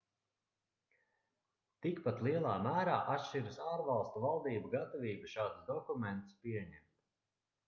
tikpat lielā mērā atšķiras ārvalstu valdību gatavība šādus dokumentus pieņemt